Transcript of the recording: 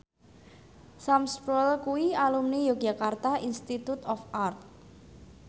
Sam Spruell kuwi alumni Yogyakarta Institute of Art